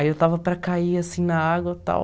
Aí eu estava para cair, assim, na água, tal.